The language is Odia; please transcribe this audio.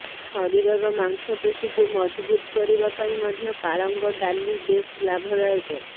ଶରୀରର ମାଂସପେଶୀକୁ ମଜଭୁତ କରିବା ପାଇଁ ମଧ୍ୟ ପାଳଙ୍ଗ ଡାଲି ବେଶ ଲାଭଦାୟକ